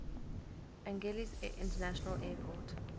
angeles international airport